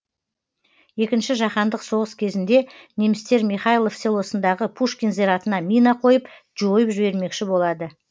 екінші жаһандық соғыс кезінде немістер михайлов селосындағы пушкин зиратына мина қойып жойып жібермекші болады